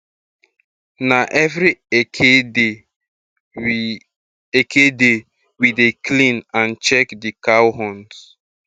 na every eke day we eke day we de clean and check di cow horns